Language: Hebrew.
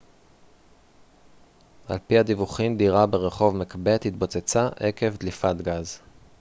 על פי הדיווחים דירה ברחוב מקבת התפוצצה עקב דליפת גז